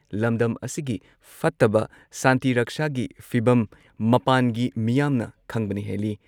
ꯂꯝꯗꯝ ꯑꯁꯤꯒꯤ ꯐꯠꯇꯕ ꯁꯥꯟꯇꯤ ꯔꯛꯁꯥꯒꯤ ꯐꯤꯚꯝ ꯃꯄꯥꯟꯒꯤ ꯃꯤꯌꯥꯝꯅ ꯈꯪꯕꯅ ꯍꯦꯜꯂꯤ